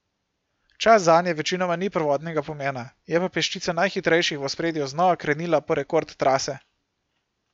Čas zanje večinoma ni prvotnega pomena, je pa peščica najhitrejših v ospredju znova krenila po rekord trase.